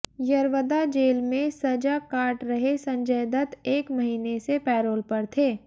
Yerawada jail में सजा काट रहे संजय दत्त एक महीने से पैरोल पर थे